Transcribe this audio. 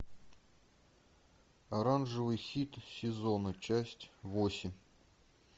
оранжевый хит сезона часть восемь